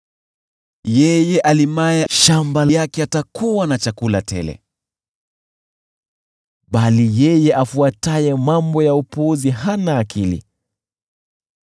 Yeye alimaye shamba lake atakuwa na chakula tele, bali yeye afuataye mambo ya upuzi hana akili.